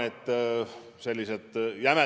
See kõik peab olema võimalikult valutu.